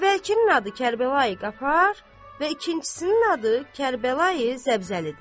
Əvvəlkinin adı Kərbəlayi Qafar və ikincisinin adı Kərbəlayi Zəbzəlidir.